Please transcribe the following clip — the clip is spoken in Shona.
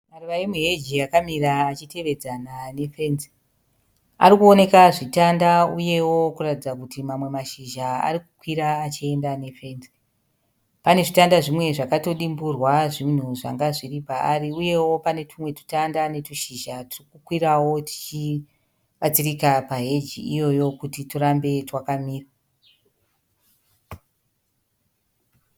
Maruva emuheji akamira achiteedzana nefenzi. Ari kuoneka zvitanda uyewo kuratidza kutima mamwe mashizha ari kukwira achienda nefenzi. Pane zvitanda zvimwe zvakatodimburwa zvinhu zvanga zviri paari uyewo panetumwe tutanda netwushizha turi kukwirawo tuchibatsirika paheji iyoyo kuti twurambe twakamira.